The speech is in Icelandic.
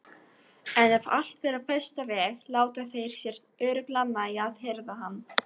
En ef allt fer á versta veg láta þeir sér örugglega nægja að hirða hann.